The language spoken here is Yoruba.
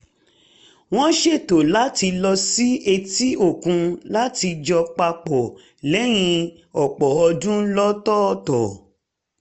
wọ́n ṣètò láti lọ sí etí-òkun láti jọ pa pọ̀ lẹ́yìn ọ̀pọ̀ ọdún lọ́tọ̀ọ̀tọ̀